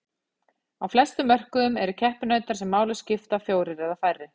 á flestum mörkuðum eru keppinautar sem máli skipta fjórir eða færri